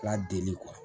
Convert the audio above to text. K'a deli